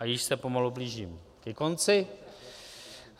A již se pomalu blížím ke konci.